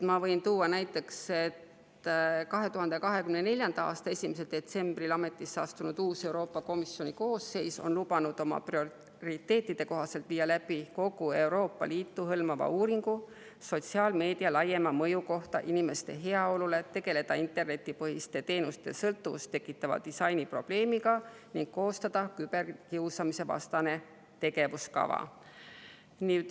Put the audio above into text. Ma võin tuua näiteks, et 2024. aasta 1. detsembril ametisse astunud Euroopa Komisjoni uus koosseis on lubanud oma prioriteetide kohaselt viia läbi kogu Euroopa Liitu hõlmava uuringu sotsiaalmeedia laiema mõju kohta inimeste heaolule, tegeleda internetipõhiste teenuste sõltuvust tekitava disaini probleemiga ning koostada küberkiusamisvastane tegevuskava.